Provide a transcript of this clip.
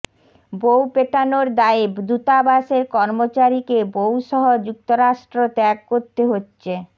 বউ পেটানোর দায়ে দূতাবাসের কর্মচারিকে বউসহ যুক্তরাষ্ট্র ত্যাগ করতে হচ্ছে